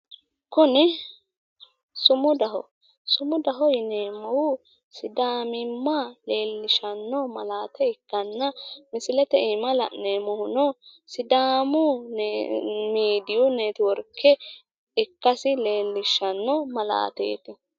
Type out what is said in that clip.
Kuni sumudaho. Sumudaho yineemmohu sidaamimma leellishshanno malaate ikkanna misilete iima lalneemohuno sidaamu miidiyi networke ikkasi leellishshanno misileeti.